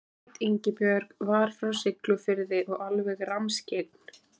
Hét Ingibjörg, var frá Siglufirði og alveg rammskyggn.